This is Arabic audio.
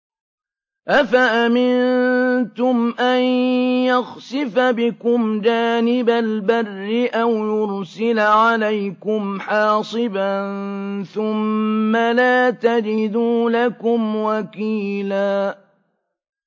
أَفَأَمِنتُمْ أَن يَخْسِفَ بِكُمْ جَانِبَ الْبَرِّ أَوْ يُرْسِلَ عَلَيْكُمْ حَاصِبًا ثُمَّ لَا تَجِدُوا لَكُمْ وَكِيلًا